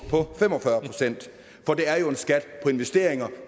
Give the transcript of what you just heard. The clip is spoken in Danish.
på det er jo en skat på investeringer